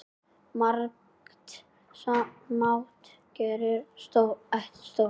Margt smátt gerir eitt stórt